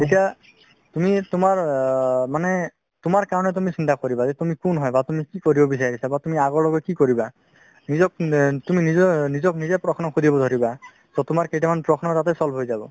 তেতিয়া তুমি তুমাৰ আ মানে তুমাৰ কাৰণে তুমি চিন্তা কৰিবা যে তুমি কোন হয় বা আপুনি কি কৰিব বিচাৰিছে বা তুমি আগলৈকে কি কৰিবা তুমি নিজক নিজে প্ৰশ্ন শুধিব ধৰিবা so প্ৰশ্ন কেইটামান তাতেই solve হয় যাব